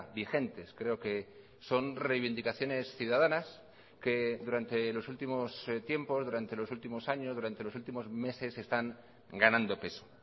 vigentes creo que son reivindicaciones ciudadanas que durante los últimos tiempos durante los últimos años durante los últimos meses están ganando peso